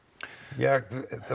ég